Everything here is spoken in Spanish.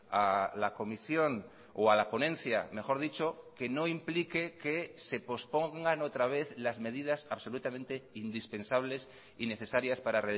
a la comisión o a la ponencia mejor dicho que no implique que se pospongan otra vez las medidas absolutamente indispensables y necesarias para